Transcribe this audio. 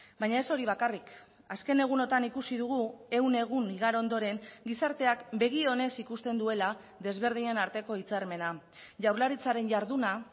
baina ez hori bakarrik azken egunotan ikusi dugu ehun egun igaro ondoren gizarteak begi onez ikusten duela desberdinen arteko hitzarmena jaurlaritzaren jarduna